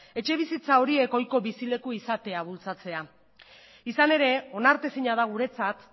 etxebizitza horiek ohiko bizi leku izate bultzatzea izan ere onartezina da guretzat